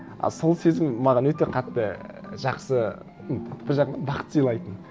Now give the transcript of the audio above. а сол сезім маған өте қатты жақсы ну бір жағынан бақыт сыйлайтын